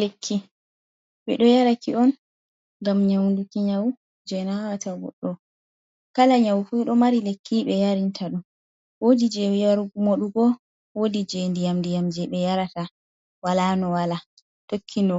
Lekki bé do yaraki on ngam nyamduki nyawu je nawata goɗɗo, kala nyau fu ɗo mari lekki be yarinta dum wodi jew yar modugo wodi je ɗiyam-ɗiyam je ebe yarata wala no wala tokki no